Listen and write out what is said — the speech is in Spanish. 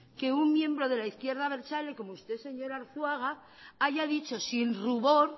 que un miembro de la izquierda abertzale como usted señor arzuaga haya dicho sin rubor